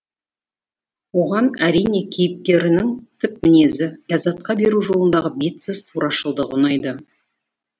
оған әрине кейіпкерінің тік мінезі ляззатқа бару жолындағы бетсіз турашылдығы ұнайды